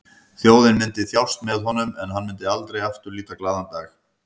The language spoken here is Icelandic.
Þjóðin myndi þjást með honum en hann myndi aldrei aftur líta glaðan dag.